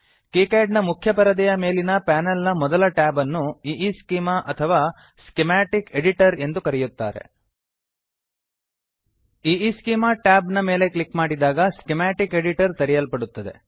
KiCad ನ ಮುಖ್ಯ ಪರದೆಯ ಮೇಲಿನ ಪಾನಲ್ ನ ಮೊದಲ ಟ್ಯಾಬ್ ಅನ್ನು ಈಸ್ಚೆಮಾ ಈಈಸ್ಕೀಮಾ ಅಥವಾ ಸ್ಕಿಮಾಟಿಕ್ ಎಡಿಟರ್ ಸ್ಕೀಮ್ಯಾಟಿಕ್ ಎಡಿಟರ್ ಎಂದು ಕರೆಯುತ್ತಾರೆ ಈಸ್ಚೆಮಾ ಈಈಸ್ಕೀಮಾ ಟ್ಯಾಬ್ ನ ಮೇಲೆ ಕ್ಲಿಕ್ ಮಾಡಿದಾಗ ಸ್ಕಿಮಾಟಿಕ್ ಎಡಿಟರ್ ಸ್ಕೀಮ್ಯಾಟಿಕ್ ಎಡಿಟರ್ ತೆರೆಯಲ್ಪಡುತ್ತದೆ